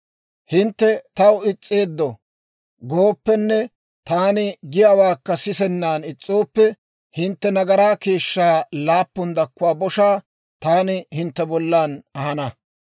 «Hintte taw is's'eeddo gooppenne taani giyaawaakka sisennan is's'ooppe, hintte nagaraa keeshshaa laappun dakkuwaa boshaa taani hintte bollan ahana.